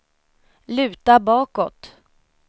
luta bakåt